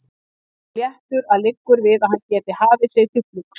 Og svo léttur að liggur við að hann geti hafið sig til flugs.